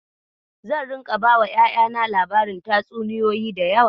Zan ringa bawa ƴaƴana labarin tatsuniyoyi da yawa.